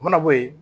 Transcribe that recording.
U mana bɔ yen